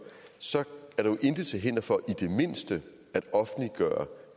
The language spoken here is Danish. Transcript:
så er der jo intet til hinder for i det mindste at offentliggøre